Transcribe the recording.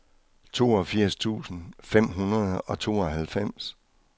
toogfirs tusind fem hundrede og tooghalvfems